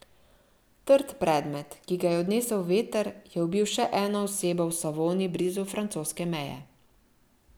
Trd predmet, ki ga je odnesel veter, je ubil še eno osebo v Savoni blizu francoske meje.